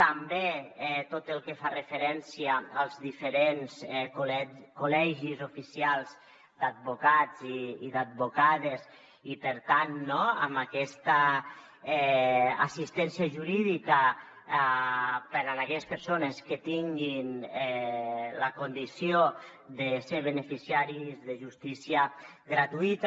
també tot el que fa referència als diferents col·legis oficials d’advocats i d’advocades i per tant amb aquesta assistència jurídica per a aquelles persones que tinguin la condició de ser beneficiaris de justícia gratuïta